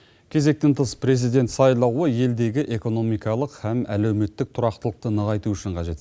кезектен тыс президент сайлауы елдегі экономикалық һәм әлеуметтік тұрақтылықты нығайту үшін қажет